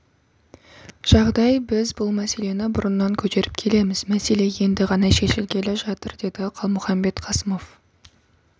жағдай біз бұл мәселені бұрыннан көтеріп келеміз мәселе енді ғана шешілгелі жатыр деді қалмұханбет қасымов